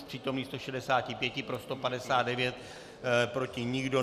Z přítomných 165 pro 159, proti nikdo.